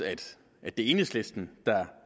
at det er enhedslisten der